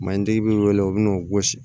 Malitigi b'i wele u bi n'o gosi